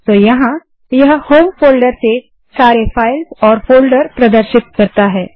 तो यहाँ यह होम फोल्डर से सारे फाइल्स और फोल्डर प्रदर्शित करता है